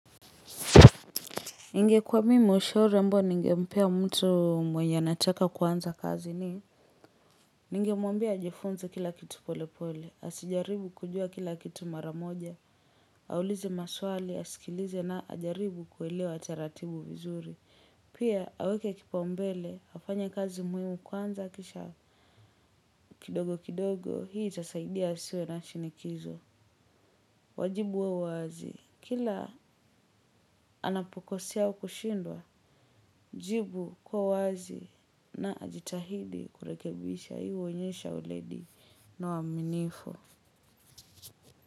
Ningekuwa mimi ushauri ambao ningempea mtu mwenye anataka kuanza kazi ni ningemwambia ajifunze kila kitu pole pole. Asijaribu kujua kila kitu mara moja. Aulize maswali, asikilize na ajaribu kuelewa taratibu vizuri. Pia aweke kipaumbele, afanye kazi muhimu kwanza kisha. Kidogo kidogo, hii itasaidia asiwe na shinikizo. Wajibu wa uwazi, kila anapokosea wa kushindwa. Jibu kwa uwazi na ajitahidi kurekebisha hii huonyesha weledi na uaminifu.